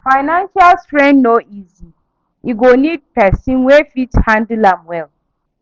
Financial strain no easy; e go nid pesin wey fit handle am well.